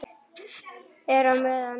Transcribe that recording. Er á meðan er.